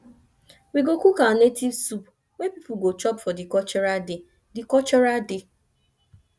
we go cook our native soup wey pipu go chop for di cultural day di cultural day